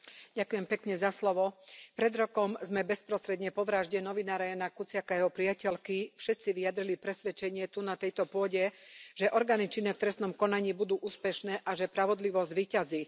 Vážený pán predsedajúci. Pred rokom sme bezprostredne po vražde novinára Jána Kuciaka a jeho priateľky všetci vyjadrili presvedčenie, tu na tejto pôde, že orgány činné v trestnom konaní budú úspešné a že spravodlivosť zvíťazí.